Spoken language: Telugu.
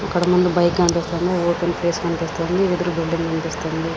ఇక్కడ ముందు బైక్ కనిపిస్తుంది ఓపెన్ ప్లేస్ కనిపిస్తుంది ఎదురు బిల్డింగ్ కనిపిస్తుంది.